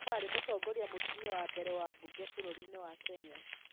Nũũ warĩ mũtongoria mũtumia wa mbere wa mbunge bũrũri-inĩ wa Kenya?